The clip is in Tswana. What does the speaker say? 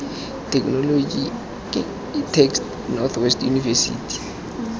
technology ctext north west university